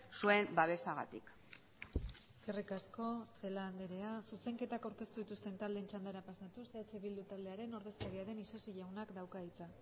zuen babesagatik eskerrik asko celaá andrea zuzenketak aurkeztu dituzten taldeen txandara pasatuz eh bildu taldearen ordezkaria den isasi jaunak dauka hitza